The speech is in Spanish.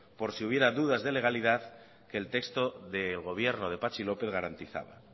por si hubiera dudas de legalidad que el texto del gobierno de patxi lópez garantizaba